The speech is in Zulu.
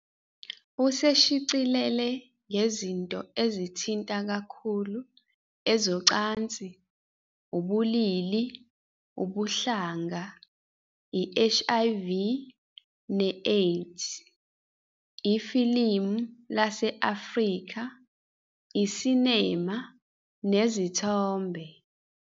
Useshicilele ngezinto ezithinta kakhulu ezocansi, ubulili, ubuhlanga, i- HIV ne-AIDS, ifilimu lase-Afrika, i-cinema nezithombe.